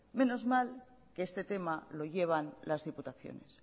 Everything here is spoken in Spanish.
menos mal que este tema lo llevan las diputaciones